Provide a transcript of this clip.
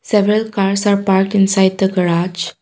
several cars are park inside the garage.